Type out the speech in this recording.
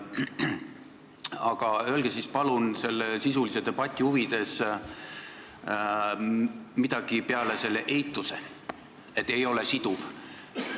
Aga öelge palun sisulise debati huvides midagi peale selle eituse, et see ei ole siduv.